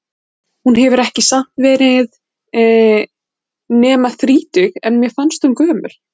Hún hefur samt ekki verið nema þrítug, en mér fannst hún gömul.